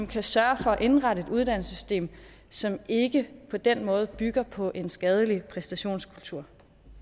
kan sørge for at indrette et uddannelsessystem som ikke på den måde bygger på en skadelig præstationskultur